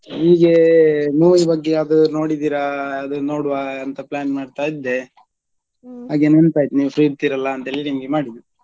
ಹೀಗೆ movie ಬಗ್ಗೆ ಯಾವ್ದಾದ್ರು ನೋಡಿದ್ದೀರಾ, ಅದನ್ನು ನೋಡ್ವ ಅಂತ plan ಮಾಡ್ತಾ ಇದ್ದೆ ಹಾಗೆ ನೆನ್ಪಾಯ್ತು ನೀವ್ free ಇರ್ತೀರಲ್ಲ ಅಂತೇಳಿ ನಿಮ್ಗೆ ಮಾಡಿದ್ದು.